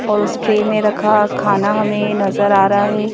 और उस ट्रे में रखा खाना हमें नज़र आ रहा है।